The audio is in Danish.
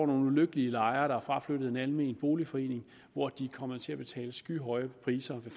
nogle ulykkelige lejere der fraflyttede en almen boligforening og de kom til at betale skyhøje priser ved